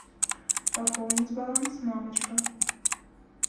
пополнить баланс мамочка